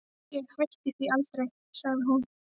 Ég hætti því aldrei, sagði hún.